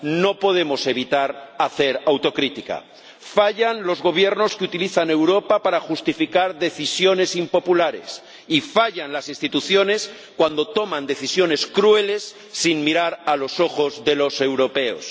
No podemos evitar hacer autocrítica fallan los gobiernos que utilizan Europa para justificar decisiones impopulares y fallan las instituciones cuando toman decisiones crueles sin mirar a los ojos de los europeos.